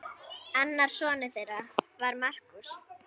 Annar sonur þeirra var Markús.